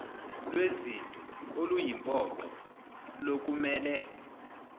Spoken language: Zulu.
lwezinto oluyimpoqo lokumele